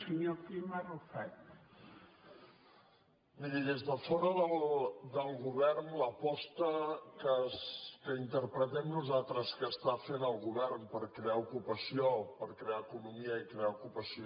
miri des de fora del govern l’aposta que interpretem nosaltres que està fent el govern per crear ocupació o per crear economia i crear ocupació